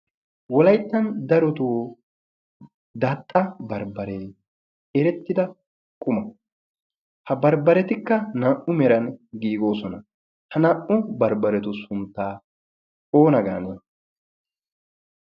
wolayttan darotoo daaxxa barbbaree erettida quma ha barbbaretikka naa'u meran giigoosona ha naa'u barbbaretu sunttaa oona gaan?